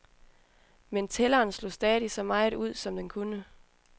Men tælleren slog stadig så meget ud, som den kunne.